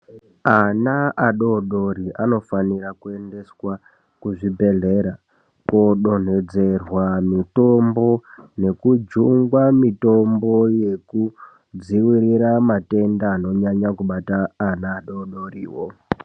Ana adodori anofanira kuendeswa kuzvibhehlera kodonhedzerwa mitombo nekujungwa mitombo yekudziwirira matenda anonyanya kubata ana adodoriwo.